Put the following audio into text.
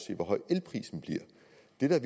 den så